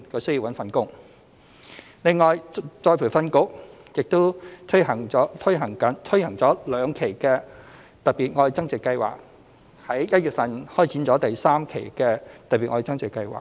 此外，僱員再培訓局亦已推行了兩期"特別.愛增值"計劃，並在今年1月開展第三期的"特別.愛增值"計劃。